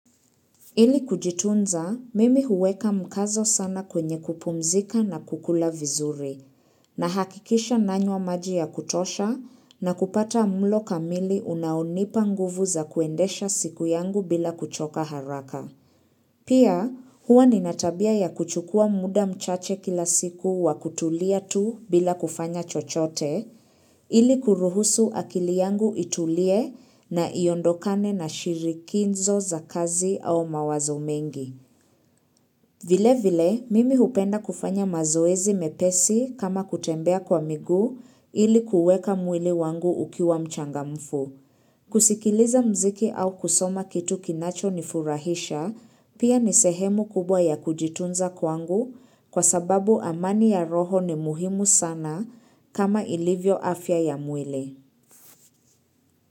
Ili kujitunza, mimi huweka mkazo sana kwenye kupumzika na kukula vizuri, nahakikisha nanywa maji ya kutosha na kupata mlo kamili unaonipa nguvu za kuendesha siku yangu bila kuchoka haraka. Pia huwa nina tabia ya kuchukua muda mchache kila siku wa kutulia tu bila kufanya chochote ili kuruhusu akili yangu itulie na iondokane na shirikinzo za kazi au mawazo mengi. Vile vile, mimi hupenda kufanya mazoezi mepesi kama kutembea kwa miguu ili kuweka mwili wangu ukiwa mchangamfu. Kusikiliza mziki au kusoma kitu kinacho nifurahisha, pia ni sehemu kubwa ya kujitunza kwangu kwa sababu amani ya roho ni muhimu sana kama ilivyo afya ya mwili.